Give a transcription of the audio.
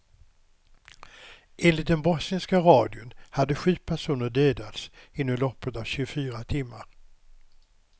Enligt den bosniska radion hade sju personer dödats inom loppet av tjugofyra timmar.